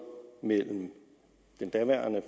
mellem den daværende